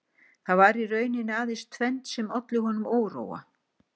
Það var í rauninni aðeins tvennt sem olli honum óróa